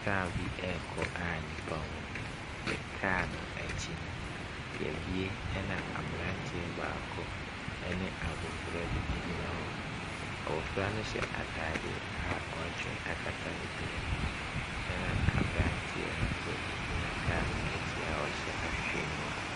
Car bi ɛrekɔ a nipa wɔm. Car no ɛkyi no yɛbue ɛna abranteɛ baako ɛne abɔfra bi egyina hɔ. Abɔfra no hyɛ ataadeɛ a woatwe akata ne tiri ho ɛna abranteɛ no nso egyina car no ɛkyi a ɔhyɛ awhewheniwa.